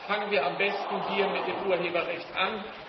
Fangen wir am besten hier mit dem Urheberrecht an!